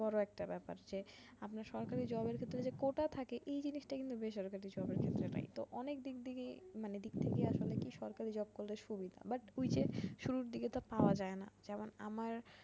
বড় একটা ব্যাপার যে আপনার সরকারি job এর ক্ষেত্রে যে কোটা থাকে এই জিনিসটাই কিন্তু বেসরকারি জবের ক্ষেত্রে নাই তো অনেক দিক থেকেই মানে দিক থেকেই আসলে কি সরকারি job করলে সুবিধা but ঐ যে শুরুর দিকে তো আর পাওয়া যায় না যেমন আমার